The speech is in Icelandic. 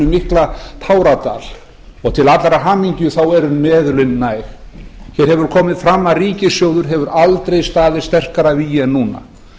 mikla táradal og til allrar hamingju eru meðulin næg hér hefur komið fram að ríkissjóður hefur aldrei staðið sterkar að vígi en núna